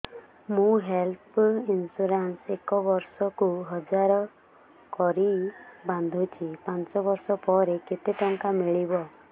ମୁ health insurance ଏକ ବର୍ଷକୁ ହଜାର କରି ବାନ୍ଧୁଛି ପାଞ୍ଚ ବର୍ଷ ପରେ କେତେ ଟଙ୍କା ମିଳିବ